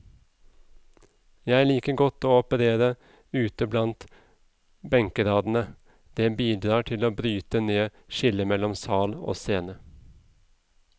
Jeg liker godt å operere ute blant benkradene, det bidrar til å bryte ned skillet mellom sal og scene.